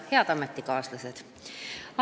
Head ametikaaslased!